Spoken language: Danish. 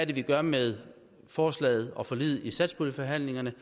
det vi gør med forslaget og forliget i satspuljeforhandlingerne